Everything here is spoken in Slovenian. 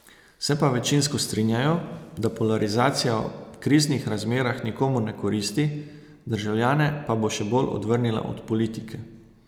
Se pa večinsko strinjajo, da polarizacija v kriznih razmerah nikomur ne koristi, državljane pa bo še bolj odvrnila od politike.